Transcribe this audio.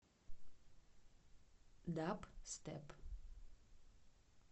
дабстеп